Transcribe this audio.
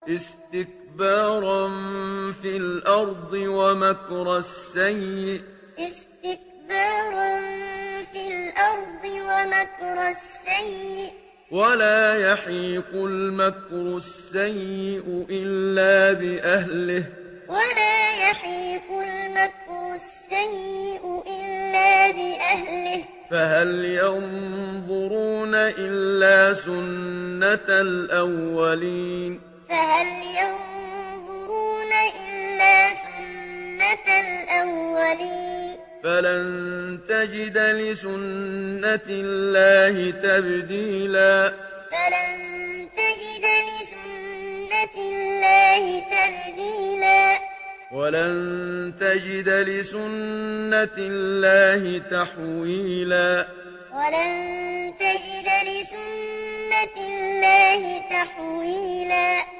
اسْتِكْبَارًا فِي الْأَرْضِ وَمَكْرَ السَّيِّئِ ۚ وَلَا يَحِيقُ الْمَكْرُ السَّيِّئُ إِلَّا بِأَهْلِهِ ۚ فَهَلْ يَنظُرُونَ إِلَّا سُنَّتَ الْأَوَّلِينَ ۚ فَلَن تَجِدَ لِسُنَّتِ اللَّهِ تَبْدِيلًا ۖ وَلَن تَجِدَ لِسُنَّتِ اللَّهِ تَحْوِيلًا اسْتِكْبَارًا فِي الْأَرْضِ وَمَكْرَ السَّيِّئِ ۚ وَلَا يَحِيقُ الْمَكْرُ السَّيِّئُ إِلَّا بِأَهْلِهِ ۚ فَهَلْ يَنظُرُونَ إِلَّا سُنَّتَ الْأَوَّلِينَ ۚ فَلَن تَجِدَ لِسُنَّتِ اللَّهِ تَبْدِيلًا ۖ وَلَن تَجِدَ لِسُنَّتِ اللَّهِ تَحْوِيلًا